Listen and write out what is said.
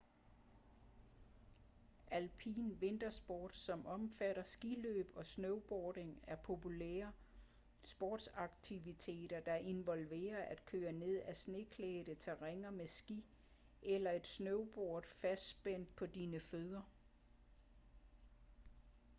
alpin vintersport som omfatter skiløb og snowboarding er populære sportsaktiviteter der involverer at køre ned af sneklædte terræner med ski eller et snowboard fastspændt på dine fødder